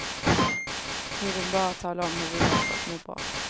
Vi vill bara tala om hur vi gör för att må bra.